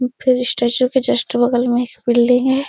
फिर स्टेशन के जस्ट बगल में एक बिल्डिंग है।